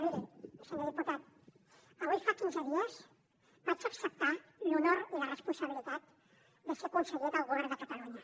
miri senyor diputat avui fa quinze dies vaig acceptar l’honor i la responsabilitat de ser conseller del govern de catalunya